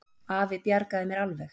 Afi bjargaði mér alveg.